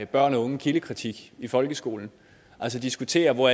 børn og unge kildekritik i folkeskolen altså diskuteret hvor